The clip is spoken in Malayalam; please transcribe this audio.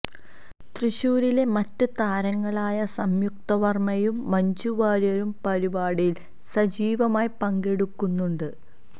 തൃശ്ശൂരിലെ മറ്റ് താരങ്ങളായ സംയുക്ത വര്മ്മയും മഞ്ജു വാര്യരും പരിപാടിയില് സജീവമായി പങ്കെടുക്കുന്നുണ്ട്